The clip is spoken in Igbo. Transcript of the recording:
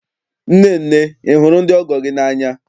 Nnenne, ị hụrụ ndị ọgọ gị n'anya?